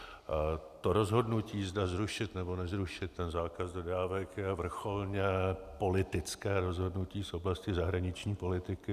To rozhodnutí, zda zrušit, nebo nezrušit ten zákaz dodávek, je vrcholně politické rozhodnutí z oblasti zahraniční politiky.